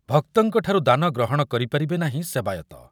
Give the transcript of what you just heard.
ଭକ୍ତଙ୍କଠାରୁ ଦାନ ଗ୍ରହଣ କରିପାରିବେ ନାହିଁ ସେବାୟତ